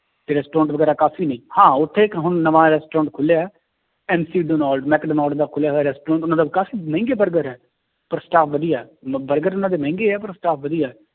ਤੇ restaurant ਵਗ਼ੈਰਾ ਕਾਫ਼ੀ ਨੇ, ਹਾਂ ਉੱਥੇ ਇੱਕ ਹੁਣ ਨਵਾਂ restaurant ਖੁੱਲਿਆ ਹੈ ਮੈਕਡੋਨਲਡ ਦਾ ਖੁੱਲਿਆ ਹੋਇਆ restaurant ਉਹਨਾਂ ਦਾ ਕਾਫ਼ੀ ਮਹਿੰਗੇ ਬਰਗਰ ਹੈ ਪਰ staff ਵਧੀਆ ਹੈ ਮ ਬਰਗਰ ਉਹਨਾਂ ਦੇ ਮਹਿੰਗੇ ਹੈ ਪਰ staff ਵਧੀਆ ਹੈ